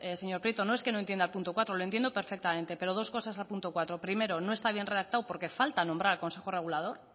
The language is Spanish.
señor prieto no es que no entienda el punto cuatro lo entiendo perfectamente pero dos cosas al punto cuatro primero no está bien redactado porque falta nombrar al consejo regulador